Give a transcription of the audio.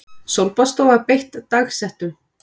Sólbaðsstofa beitt dagsektum